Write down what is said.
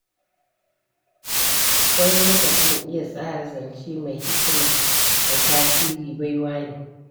Wani lokacin iya tsara zance mai hikima da tasiri, baiwa ne.